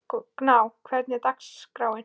Gná, hvernig er dagskráin?